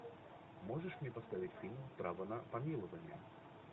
можешь мне поставить фильм право на помилование